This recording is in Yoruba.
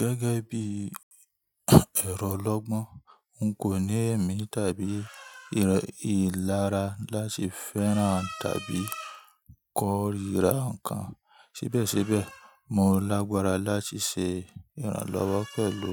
Gẹ́gẹ́ bí ẹ̀rọ olọ́gbọ́n, n kò ní ẹ̀mí tàbí ìlara láti fẹ́ran tàbí kórìíra ǹkan. Ṣíbẹ̀síbẹ̀, mo lágbára láti ṣe ìrànlọ́wọ́ pẹ̀lú